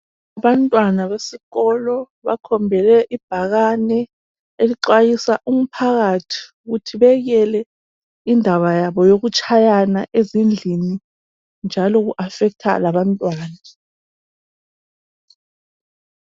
Abantwana besikolo bakhombele ibhakane elixwayisa umphakathi ukuthi bekele indaba yabo yokutshayana ezindlini njalo ku affecter labantwana.